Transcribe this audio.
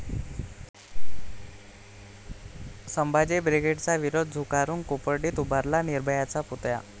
संभाजी बिग्रेडचा विरोध झुगारून कोपर्डीत उभारला 'निर्भया'चा पुतळा